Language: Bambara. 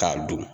K'a don